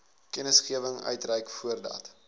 kennisgewing uitreik voordat